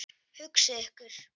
Hugsið ykkur.